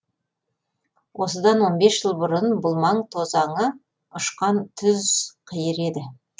осыдан он бес жыл бұрын бұл маң тозаңы ұшқан түз қиыр еді